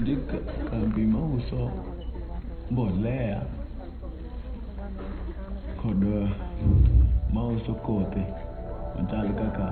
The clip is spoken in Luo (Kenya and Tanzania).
Ndika e kambi mauso mbolea kod mauso kothe machal kaka